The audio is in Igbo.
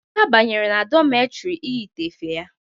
Emeka banyere na dọmetri iyite efe ya.